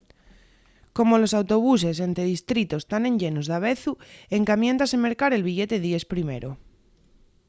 como los autobuses ente distritos tán enllenos davezu encamiéntase mercar el billete díes primero